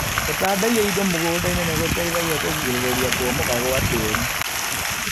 Gũtandaiya indo mũgundainĩ nĩgũteithagia kũrigĩrĩria kũmomoka gwa tĩri.